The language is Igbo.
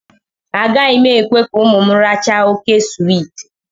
Agaghị m ekwe ka ụmụ m rachaa óké swiiti